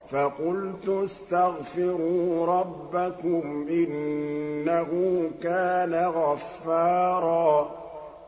فَقُلْتُ اسْتَغْفِرُوا رَبَّكُمْ إِنَّهُ كَانَ غَفَّارًا